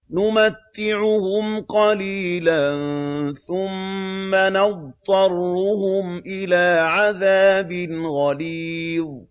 نُمَتِّعُهُمْ قَلِيلًا ثُمَّ نَضْطَرُّهُمْ إِلَىٰ عَذَابٍ غَلِيظٍ